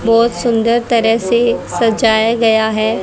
बहोत सुंदर तरह से सजाया गया है।